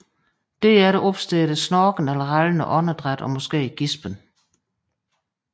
Derefter opstår der snorkende eller rallende åndedræt og måske gispen